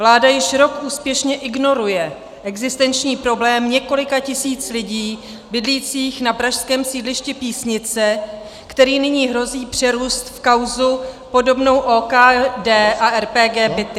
Vláda již rok úspěšně ignoruje existenční problém několika tisíc lidí bydlících na pražském sídlišti Písnice, který nyní hrozí přerůst v kauzu podobnou OKD a RPG Byty.